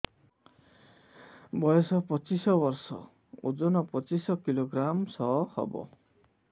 ବୟସ ପଚିଶ ବର୍ଷ ଓଜନ ପଚିଶ କିଲୋଗ୍ରାମସ ହବ